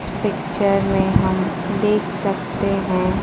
इस पिक्चर में हम देख सकते हैं।